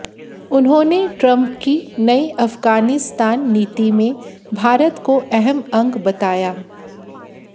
उन्होंने ट्रंप की नई अफगानिस्तान नीति में भारत को अहम अंग बताया